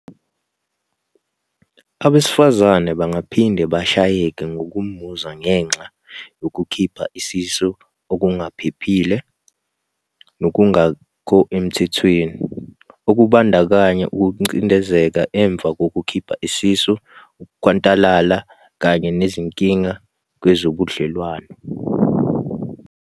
"Abesifazane bangaphinde bashayeke ngokomuzwa ngenxa yokukhipha isisu okungaphephile, nokungekho emthethweni, okubandakanya ukucindezeleka emva kokukhipha isisu, ukhwantalala kanye nezinkinga kwezobudlelwano."